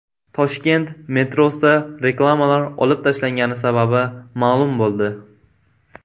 Toshkent metrosida reklamalar olib tashlangani sababi ma’lum bo‘ldi.